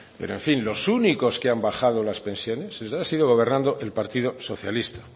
pero en fin los únicos que han bajado las pensiones ha sido gobernando el partido socialista